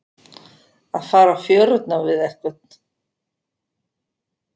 Að fara á fjörurnar við einhvern